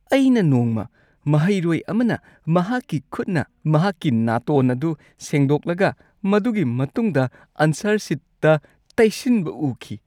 ꯑꯩꯅ ꯅꯣꯡꯃ ꯃꯍꯩꯔꯣꯏ ꯑꯃꯅ ꯃꯍꯥꯛꯀꯤ ꯈꯨꯠꯅ ꯃꯍꯥꯛꯀꯤ ꯅꯥꯇꯣꯟ ꯑꯗꯨ ꯁꯦꯡꯗꯣꯛꯂꯒ ꯃꯗꯨꯒꯤ ꯃꯇꯨꯡꯗ ꯑꯟꯁꯔ ꯁꯤꯠꯇ ꯇꯩꯁꯤꯟꯕ ꯎꯈꯤ꯫